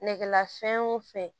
Nɛgɛla fɛn o fɛn